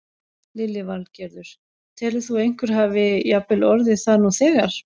Lillý Valgerður: Telur þú að einhver hafi jafnvel orðið það nú þegar?